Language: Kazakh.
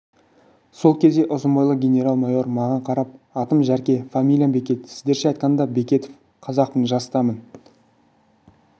сол кезде ұзын бойлы генерал-майор маған қарап атым жәрке фамилиям бекет сіздерше айтқанда бекетов қазақпын жастамын